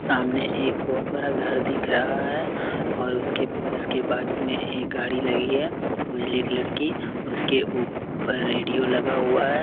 सामने एक बहुत बड़ा घर दिख रहा है और उसके उसके बाजू में एक गाड़ी लगी है उजले कलर की उसके ऊपर रेडियो लगा हुआ है।